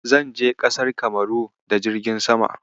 Zan je ƙasar Kamaru da jirgin sama.